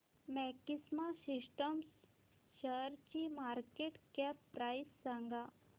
maxima Systems शेअरची market cap price सांगा